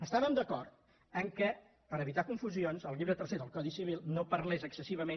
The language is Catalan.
estàvem d’acord que per evitar confusions el llibre tercer del codi civil no par·lés excessivament